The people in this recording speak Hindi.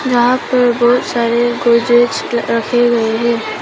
यहां पर बहुत सारे गोदरेज रखे गए हैं।